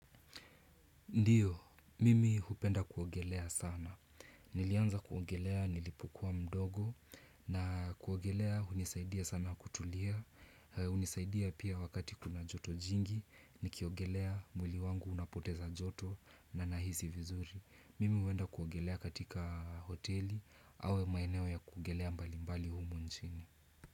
Ndiyo, mimi hupenda kuogelea sana. Nilianza kuogelea, nilipokuwa mdogo na kuogelea unisaidia sana kutulia. Unisaidia pia wakati kuna joto jingi, nikiogelea mwili wangu unapoteza joto na nahisi vizuri. Mimi huenda kuogelea katika hoteli au maeneo ya kuogelea mbali mbali humu nchini.